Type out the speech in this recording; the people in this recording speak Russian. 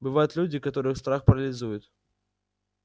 бывают люди которых страх парализует